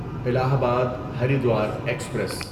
الہ آباد ہریدوار ایکسپریس